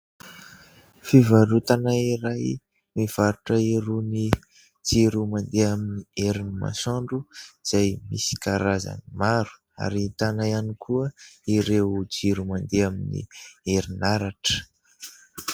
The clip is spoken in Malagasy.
Fivarotana iray mivarotra irony jiro mandeha amin'ny herin'ny masoandro izay misy karazany maro, ary ahitana ihany koa ireo jiro mandeha amin'ny erinaratra.